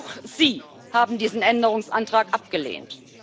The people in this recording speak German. Auch sie haben diesen Änderungsantrag abgelehnt.